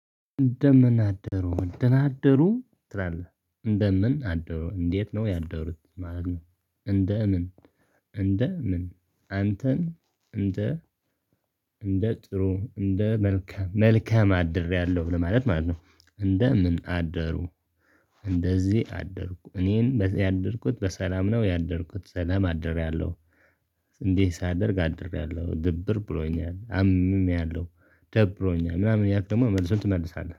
እንደምን አደሩ ደና አደሩ ትላለህ እንደምን አደሩ እንዴት ነው ያደሩት ማለት ነው? እንደምን እንደ ምን? አንተን እንደ እንደ ጥሩ እንደ መልካም መልካም አድሬያለሁ ብለህ ለማለት ማለት ነው እንደ ምን አደሩ? እንደዚህ አደርኩ እኔን ያደርኩት በሰላም ነው ያደርኩት ሰላም አድርያለሁ። እንዴ ሳደርግ አድሬያለሁ ድብር ብሎኛል አምሚያለሁ ደብሮኛል ምናምን እያልክ ደግሞ መልሱን ትመልሳለህ